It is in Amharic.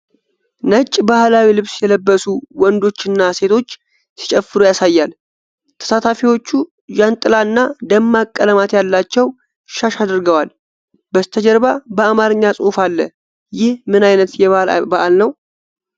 ነጭ ባህላዊ ልብስ የለበሱ ወንዶችና ሴቶች ሲጨፍሩ ያሳያል። ተሳታፊዎቹ ጃንጥላና ደማቅ ቀለማት ያላቸው ሻሽ አድርገዋል። በስተጀርባ በአማርኛ ጽሑፍ አለ። ይህ ምን ዓይነት የባህል በዓል ነው?